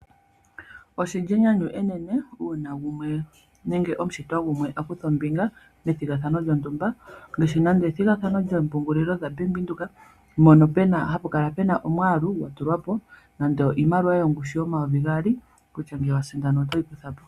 Oshili enyanyu enene uuna gumwe nenge omushitwa gumwe akutha ombinga methigathano lyontumba. Nande ethigathano lyoompungulilo dhaBank Windhoek, mono hapa kala puna omwaalu gwatulwa po nando iimaliwa yomayovi gaali kutya ngele wasindana otoyi kutha po.